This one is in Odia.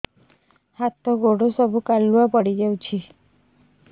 ହାତ ଗୋଡ ସବୁ କାଲୁଆ ପଡି ଯାଉଛି